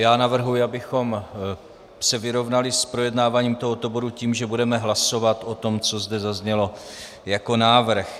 Já navrhuji, abychom se vyrovnali s projednáváním tohoto bodu tím, že budeme hlasovat o tom, co zde zaznělo jako návrh.